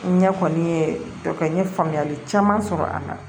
N ɲɛ kɔni ye kɛ n ye faamuyali caman sɔrɔ a la